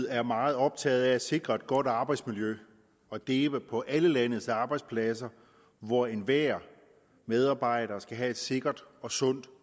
er meget optaget af at sikre et godt arbejdsmiljø og det er på alle landets arbejdspladser hvor enhver medarbejder skal have et sikkert og sundt